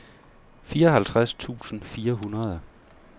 fireoghalvtreds tusind fire hundrede